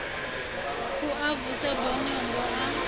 u a vusa bonyongo a